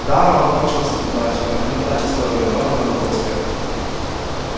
да она окончилась неудачей но эта неудача стоила иного лёгкого успеха